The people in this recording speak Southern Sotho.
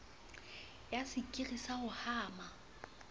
ya sekiri sa ho hama